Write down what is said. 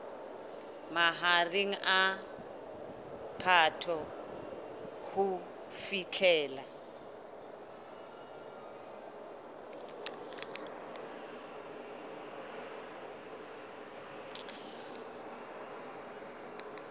mahareng a phato ho fihlela